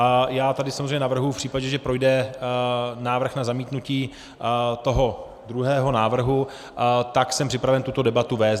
A já tady samozřejmě navrhuji v případě, že projde návrh na zamítnutí toho druhého návrhu, tak jsem připraven tuto debatu vést.